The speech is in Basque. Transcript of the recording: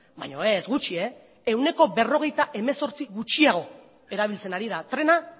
baina ez gutxi ehuneko berrogeita hemezortzi gutxiago erabiltzen ari da trena